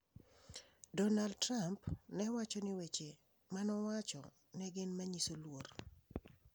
Donald Trump ne wacho ni weche ma owacho ne gin manyiso luor.